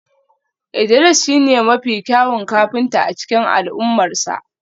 Idris shine mafi kyawun kafinta a cikin al'ummarsa